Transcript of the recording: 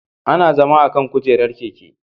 Ana zama akan kujerar keke